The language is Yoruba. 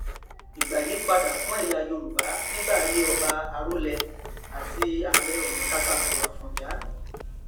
ìgbà yí padà fún ẹyà yorùbá nígbà ayé ọba arólẹ àti ààrẹ ọnà kakanfò àfọnjá